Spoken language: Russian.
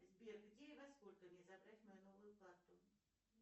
сбер где и во сколько мне забрать мою новую карту